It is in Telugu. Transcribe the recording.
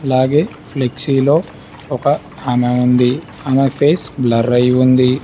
అలాగే ఫ్లెక్సీలో ఒక ఆమె ఉంది ఆమె ఫేస్ బ్లర్ అయ్యి ఉంది.